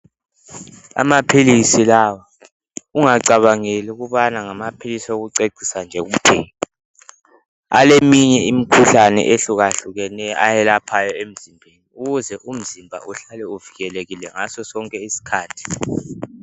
Amaphilisi lawa ungacabangeli ukubana ngamaphilisi wokucecisa nje kuphela, aleminye imkhuhlane ehlukahlukeneyo ayelaphayo emzimbeni ukuze umzimba uhlale uvikelekile ngaso sonke isikhathi.